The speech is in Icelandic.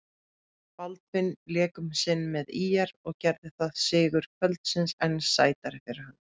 Baldvin lék um sinn með ÍR, gerði það sigur kvöldsins enn sætari fyrir hann?